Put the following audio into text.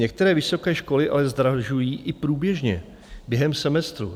Některé vysoké školy ale zdražují i průběžně během semestru.